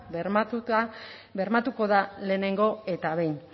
bermatuko da lehenengo eta behin